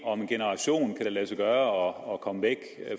om en generation kan lade sig gøre at komme væk